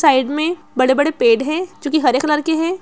Side में बड़े-बड़े पेड़ है जो की हरे कलर के है।